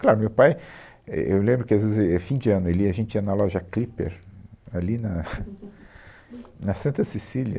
Claro, meu pai, é, eu lembro que às vezes, éh, fim de ano, ele ia, a gente ia na loja Clipper, ali na na Santa Cecília,